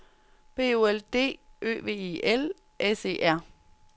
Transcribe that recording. B O L D Ø V E L S E R